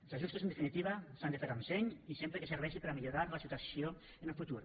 els ajustos en definitiva s’han de fer amb seny i sempre que serveixi per a millorar la situació en el futur